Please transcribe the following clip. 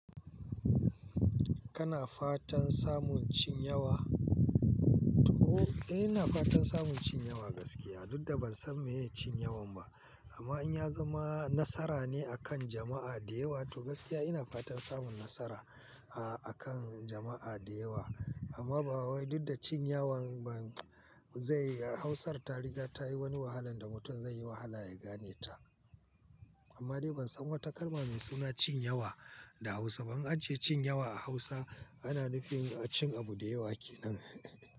Kana fatan samun cin yawa? To, eh, ina fatan samun cin yawa gaskiya. Dudda ban san me ne cin yawan ba, amma in ya zama nasara ne a kan jama'a da yawa, to gaskiya ina fatan samun nasara, a, a kan jama'a da yawa. Amma ba wai, duk da cin yawan ban zai-- Hausar tariga ta yi wani wahalan da mutum zai yi wahala ya gane ta. Amma dai ban san wata kalma mai suna cin yawa da Hausa. Ban ajiye cin yawa a Hausa, ana nufin cin abu da yawa ke nan.